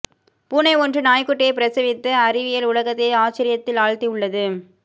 பூனை ஒன்று நாய்க்குட்டியை பிரசவித்து அறிவியல் உலகத்தையே ஆச்சரியத்தில் ஆழ்த்தி உள்ளது